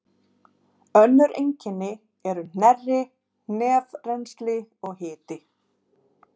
Önnur einkenni eru hnerri, nefrennsli og hiti.